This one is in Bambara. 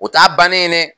O t'a bannen ye dɛ